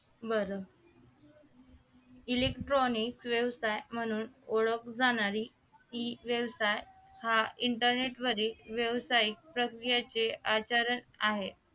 बरं electronic व्यवसाय म्हणून ओळखली जाणारी ही व्यवसाय हा inernet वरील व्यवसाय प्रक्रियेचे आचरण आहे